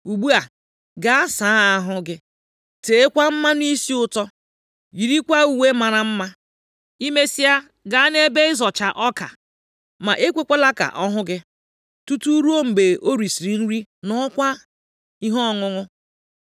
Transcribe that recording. Ugbu a, gaa saa ahụ gị, teekwa mmanụ isi ụtọ, yirikwa uwe mara mma. I mesịa, gaa nʼebe ịzọcha ọka, + 3:3 Ọ bụ ọrụ ụmụ anụmanụ ịzọcha ọka nʼoge ehihie. Ma nʼoge uhuruchi, mgbe ikuku nʼefe, ndị ọrụ ubi na-eji ihe dịka nkata na-awụli ọka ahụ elu nʼihi ịyọcha ya. Dịka ha na-awụli ya elu, ikuku na-ebufu igbugbo ọka na ahịhịa, ma mkpụrụ ọka na-adịgide nʼime nkata ahụ. ma ekwekwala ka ọ hụ gị, tutu ruo mgbe o risiri nri ṅụọkwa ihe ọṅụṅụ.